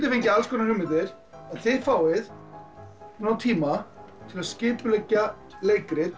fengið alls konar hugmyndir þið fáið nógan tíma til að skipuleggja leikrit